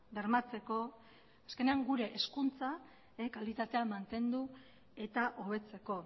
bermatzeko azkenean gure hezkuntza kalitatea mantendu eta hobetzeko